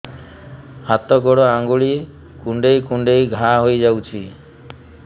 ହାତ ଗୋଡ଼ ଆଂଗୁଳି କୁଂଡେଇ କୁଂଡେଇ ଘାଆ ହୋଇଯାଉଛି